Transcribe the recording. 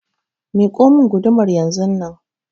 Miƙo mun gudumar yanzunnan!